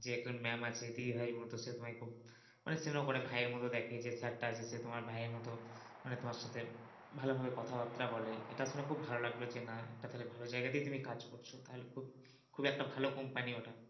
যে একজন ম্যাম আছে দিদি ভাইয়ের মত সে তোমায় খুব মানে ভাইয়ের মত দেখে যে sir আছে সে তোমার ভাইয়ের মত মানে তোমার সাথে ভালভাবে কথাবার্তা বলে, এটা শুনে খুব ভালো লাগলো যে না একটা তালে ভালো যায়গা তেই তুমি কাজ করছো তাহলে খুব খুব একটা ভালো company ওটা।